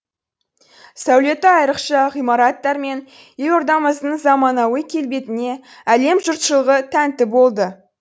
сәулеті айрықша ғимараттар мен елордамыздың заманауи келбетіне әлем жұртшылығы тәнті болды